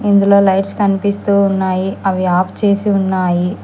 ఇందులో లైట్స్ కనిపిస్తూ ఉన్నాయి అవి ఆఫ్ చేసి ఉన్నాయి.